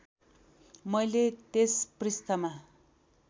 मैले त्यस पृष्ठमा